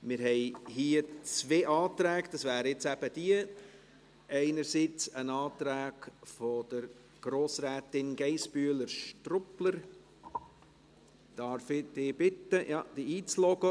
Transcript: Wir haben hier zwei Anträge, einerseits einen Antrag von Grossrätin Geissbühler-Strupler – Darf ich dich bitten, dich einzuloggen?